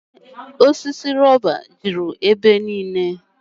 Ee osisi rọba juru ebe niile.